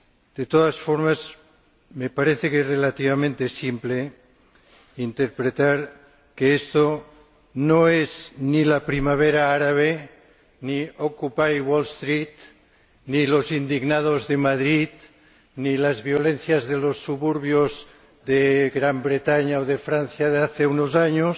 De todas formas, me parece que es relativamente simple interpretar que esto no es ni la Primavera árabe, ni Occupy Wall Street, ni los indignados de Madrid, ni las violencias de los suburbios de Gran Bretaña o de Francia de hace unos años.